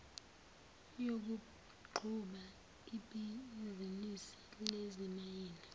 yokuqhuba ibhizinisi lezimayini